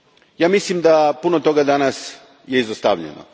Ja mislim da je puno toga danas izostavljeno.